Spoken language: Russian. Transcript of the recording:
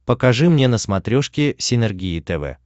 покажи мне на смотрешке синергия тв